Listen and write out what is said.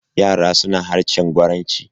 yara suna harshen gwaranci.